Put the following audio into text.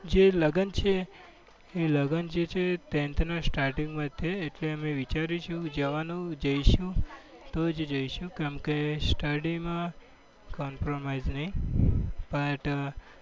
જે લગ્ન છે એ લગન છે એ ટેન્થ ના starting માં જ છે. એટલે અમે વિચાર્યું છે જવાનું જઈશું તો જ જઈશું કેમ કે study માં compromise નહીં. but